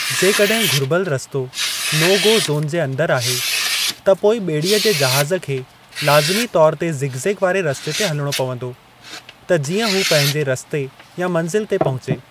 जेकॾहिं घुर्बल रस्तो नो गो ज़ोन जे अंदरि आहे, त पोइ ॿेड़ीअ जे जहाज़ खे लाज़िमी तौर ते ज़िगज़ेग वारे रस्ते ते हलिणो पंवदो त जीअं हू पंहिंजे रस्ते या मंज़िल ते पहुचे।